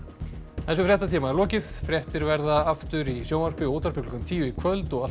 þessum fréttatíma er lokið fréttir verða aftur í sjónvarpi og útvarpi klukkan tíu í kvöld og alltaf á